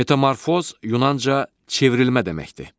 Metamorfoz yunanca çevrilmə deməkdir.